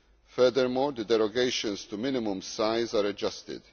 Furthermore, the derogations to minimum size are adjusted.